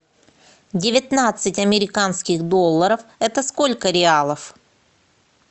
девятнадцать американских долларов это сколько реалов